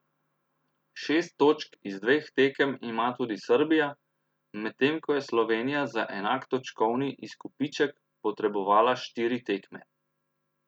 Šest točk z dveh tekem ima tudi Srbija, medtem ko je Slovenija za enak točkovni izkupiček potrebovala štiri tekme.